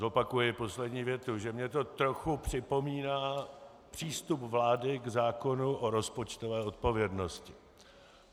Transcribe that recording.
Zopakuji poslední větu, že mě to trochu připomíná přístup vlády k zákonu o rozpočtové odpovědnosti.